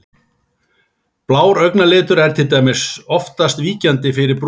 Blár augnalitur er til dæmis oftast víkjandi fyrir brúnum.